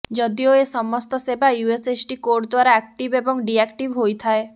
ଯଦିଓ ଏସମସ୍ତ ସେବା ୟୁଏସଏସଡି କୋଡ ଦ୍ୱାରା ଆକ୍ଟିଭ ଏବଂ ଡିଆକ୍ଟିଭ ହୋଇଥାଏ